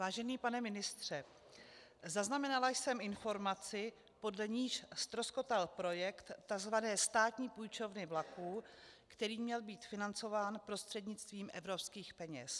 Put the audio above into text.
Vážený pane ministře, zaznamenala jsem informaci, podle níž ztroskotal projekt tzv. státní půjčovny vlaků, který měl být financován prostřednictvím evropských peněz.